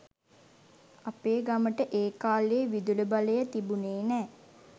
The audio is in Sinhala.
අපේ ගමට ඒකාලෙ විදුලිබලය තිබුනෙ නෑ.